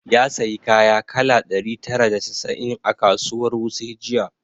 Ya sayi kaya kala ɗari tara da casa'in a kasuwar wuse jiya